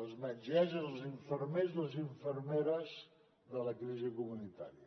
les metgesses i els infermers i les infermeres de la crisi comunitària